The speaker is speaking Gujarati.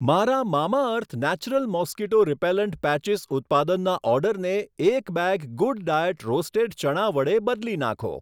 મારા Mamaearth natural mosquito repellent patches ઉત્પાદનના ઓર્ડરને એક બેગ ગૂડડાયેટ રોસ્ટેડ ચણા વડે બદલી નાંખો.